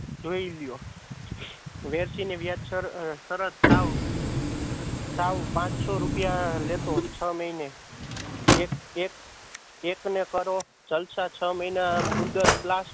જોય લ્યો. વેરશીને વ્યાજ સર સરત સાવ સાવ પાંચ સો રૂપિયા લેતો છ મહીને એક ને કરો જલશા છ મહીના મુદ્દત